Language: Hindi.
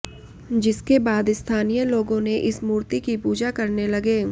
जिसके बाद स्थानीय लोगो ने इस मूर्ति की पूजा करने लगे